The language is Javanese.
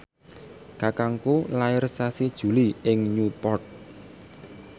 kakangku lair sasi Juli ing Newport